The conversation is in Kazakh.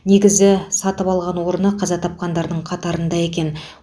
негізі сатып алған орны қаза тапқандардың қатарында екен